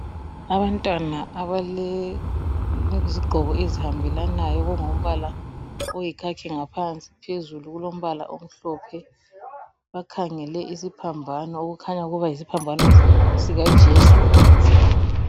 Abantwana abalezigqoko ezihambelanayo okungumbala oyikhakhi ngaphansi, phezulu kulombala omhlophe. Bakhangele isiphambano okukhanya ukuba yisiphambano sikaJesu.